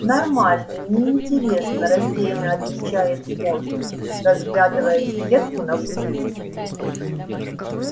нормальный не интересно рассеяно отвечает он разглядывая этикетку на бутылке